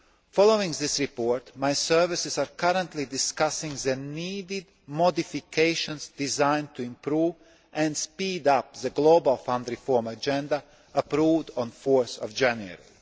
Following this report, my services are currently discussing the needed modifications designed to improve and speed up the Global Fund reform agenda approved on 4 January.